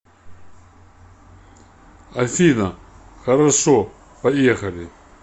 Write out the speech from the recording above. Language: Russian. афина хорошо поехали